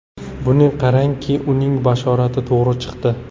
Buni qarangki, uning bashorati to‘g‘ri chiqdi.